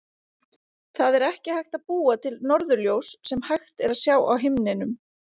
Það er ekki hægt að búa til norðurljós sem hægt er að sjá á himninum.